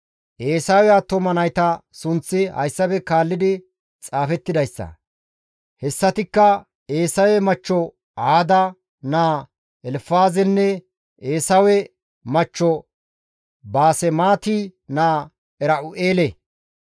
Eesawe attuma nayta sunththi hayssafe kaalli xaafettidayssa; hessatikka Eesawe machcho Aada naa Elfaazenne Eesawe machcho Baasemaati naa Era7u7eele.